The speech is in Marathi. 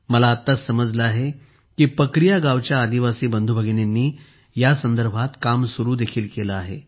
मला आत्ताच समजले आहे की पकरिया गावच्या आदिवासी बंधू भगिनींनी या संदर्भात काम सूरू देखील केले आहे